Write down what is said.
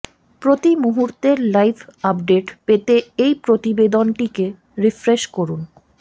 প্রতি মুহূর্তের live update পেতে এই প্রতিবেদনটিকে রিফ্রেশ করুন